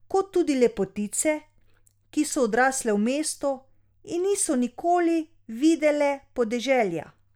Kot tudi lepotice, ki so odrasle v mestu in niso nikoli videle podeželja.